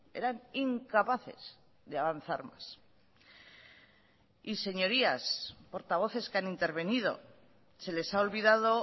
eran incapaces de avanzar más y señorías portavoces que han intervenido se les ha olvidado